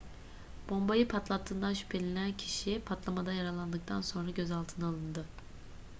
bombayı patlattığından şüphelenilen kişi patlamada yaralandıktan sonra gözaltına alındı